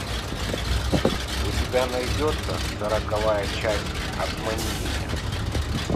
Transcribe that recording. у тебя найдется сороковая часть обмани меня